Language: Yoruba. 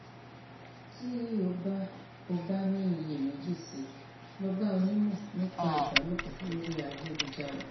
tí o bá o bá ní iyèméjì sí i lọ bá onímọ nípa ìbálòpọ lórí ayélujára